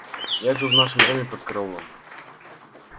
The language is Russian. я живу в нашем доме под караулом